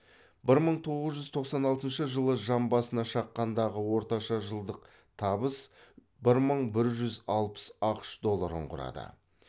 бір мың тоғыз жүз тоқсан алтыншы жан басына шаққандағы орташа жылдық табыс бір мың бір жүз алпыс ақш долларын құрады